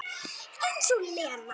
Eins og Lena!